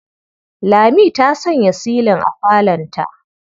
Lami ta sanya silin a falonta.